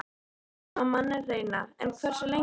Lengi má manninn reyna- en hversu lengi?